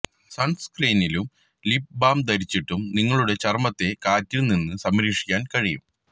സൺസ്ക്രീനിലും lip balm ധരിച്ചിട്ടും നിങ്ങളുടെ ചർമ്മത്തെ കാറ്റിൽ നിന്ന് സംരക്ഷിക്കാൻ കഴിയും